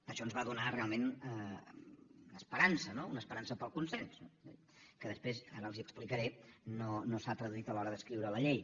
això ens va donar realment esperança no una esperança pel consens que després ara els ho explicaré no s’ha traduït a l’hora d’escriure la llei